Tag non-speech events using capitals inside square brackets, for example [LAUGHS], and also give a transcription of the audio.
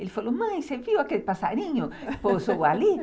Ele falou, mãe, você viu aquele passarinho [LAUGHS] que pousou ali?